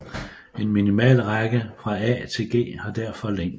En minimalrække fra A til G har derfor længde